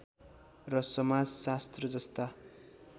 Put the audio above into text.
र समाजशास्त्र जस्ता